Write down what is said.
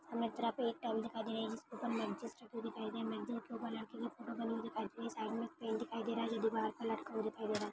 सामने एक टॉवल दिखाई दे रहा जिसके ऊपर दिखाई दे रही है मैगजीन्स के उपर लडके की फोटो बने हुए दिखाई दे रही साइड मे पेंट दिखाई दे रहा है ये दीवार पर लटका हुआ दिखाई दे रहा।